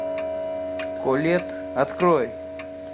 колетт открой